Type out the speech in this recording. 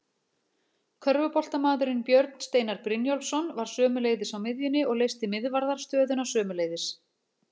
Körfuboltamaðurinn Björn Steinar Brynjólfsson var sömuleiðis á miðjunni og leysti miðvarðarstöðuna sömuleiðis.